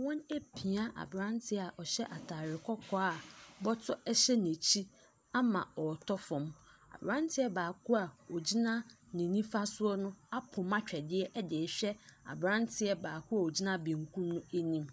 Wɔn apia aberanteɛ a ɔhyɛ atare kɔkɔɔ a bɔtɔ hyɛ n'akyi ama ɔretɔ fam. Aberanteɛ baako a ɔgyina ne nifa soɔ no apoma twɛdeɛ de rehwɛ aberanteɛ baako a ɔgyina benkum anim.